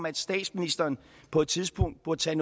at statsministeren på et tidspunkt påtager